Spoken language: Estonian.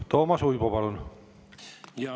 Toomas Uibo, palun!